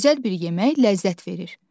Gözəl bir yemək ləzzət verir.